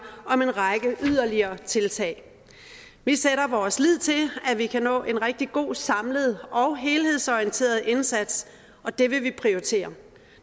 om en række yderligere tiltag vi sætter vores lid til at vi kan nå en rigtig god samlet og helhedsorienteret indsats og det vil vi prioritere